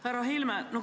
Härra Helme!